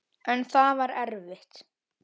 En það var erfitt.